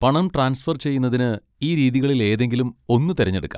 പണം ട്രാൻസ്ഫർ ചെയ്യുന്നതിന് ഈ രീതികളിൽ ഏതെങ്കിലും ഒന്ന് തിരഞ്ഞെടുക്കാം.